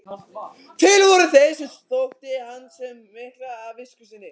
Til voru þeir sem þótti hann miklast af visku sinni.